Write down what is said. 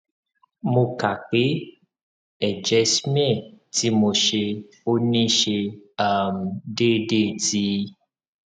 mo ka pe eje smear ti mo se oni se um deedetí